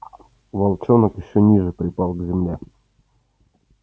волчонок ещё ниже припал к земле